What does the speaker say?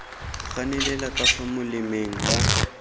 ganelela ka fa molemeng ka